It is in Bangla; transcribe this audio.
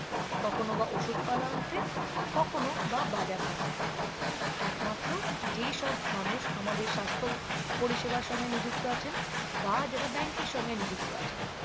কখনও বা ওষুধ পালা আনতে কখনও বা বাজার হাট একমাত্র যেসব মানুষ আমাদের সাস্থ পরিষেবার সঙ্গে নিযুক্ত আছেন বা যারা bank এর সঙ্গে নিযুক্ত আছেন